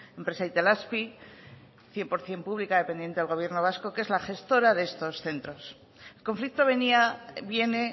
empresa itelazpi cien por ciento pública dependiente del gobierno vasco que es la gestora de estos centros el conflicto viene